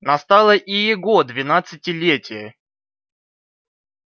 настало и его двенадцатилетие